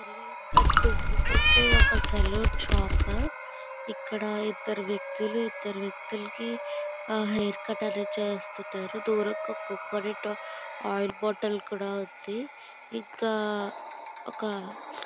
ఇక్కడ కనిపిస్తుంది అంటే ఒక సెలూన్ షాపు . ఇక్కడ ఇద్దరు వ్యక్తులు ఇద్దరు వ్యక్తులకి హెయిర్ కట్ అనేది చేస్తున్నారు. కోకోనట్ హెయిర్ ఆయిల్ కూడా ఉంది. ఇంకా ఒక--